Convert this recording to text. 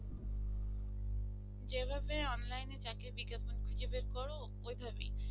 যেভাবে online থাকে বিজ্ঞাপন থেকে বের কর ওইভাবেই